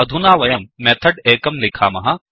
अधुना वयं मेथड् एकं लिखामः